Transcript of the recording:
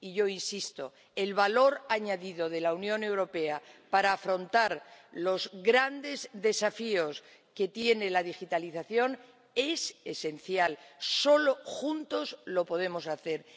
Y yo insisto el valor añadido de la Unión Europea para afrontar los grandes desafíos que tiene la digitalización es esencial solo juntos lo podemos hacer.